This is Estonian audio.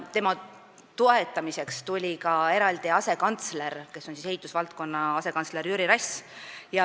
Tema toetamiseks hakkas eraldi ehitusvaldkonna asekantslerina tööle Jüri Rass.